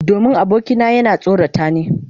Domin abokina yana tsorata ni.